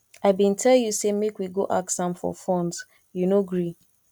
i bin tell you say make we go ask am for funds you no gree